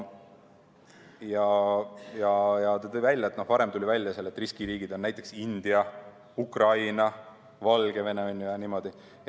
Ta tõi välja, et varem tuli välja, et riskiriigid on näiteks India, Ukraina, Valgevene ja niimoodi.